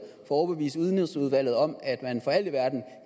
at overbevise udenrigsudvalget om at man for alt i verden